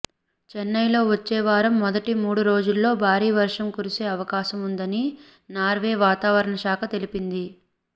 చెన్నైలో వచ్చే వారం మొదటి మూడు రోజుల్లో భారీ వర్షం కురిసే అవకాశం ఉందని నార్వే వాతావరణ శాఖ తెలిపింది